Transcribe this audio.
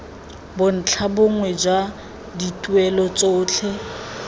bontlha bongwe jwa dituelo tsotlhe